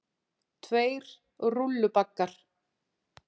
Tveir rúllubaggar.